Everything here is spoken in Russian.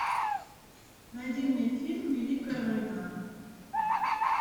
найди мне фильм великая война